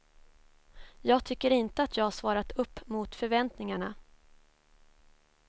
Jag tycker inte att jag svarat upp mot förväntningarna.